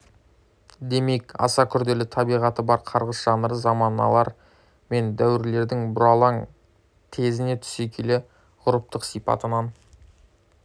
демек аса күрделі табиғаты бар қарғыс жанры заманалар мен дәуірлердің бұралаң тезіне түсе келе ғұрыптық сипатынан